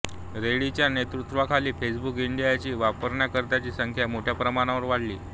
रेड्डींच्या नेतृत्वाखाली फेसबुक इंडियाची वापरकर्त्यांची संख्या मोठ्या प्रमाणावर वाढली